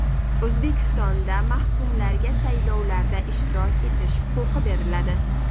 O‘zbekistonda mahkumlarga saylovlarda ishtirok etish huquqi beriladi.